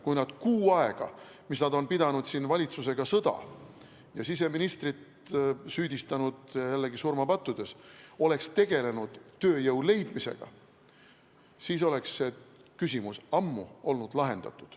Kui nad see kuu aega, mis nad on pidanud valitsusega sõda ja siseministrit süüdistanud jällegi surmapattudes, oleksid tegelenud tööjõu otsimisega, siis oleks see küsimus ammu olnud lahendatud.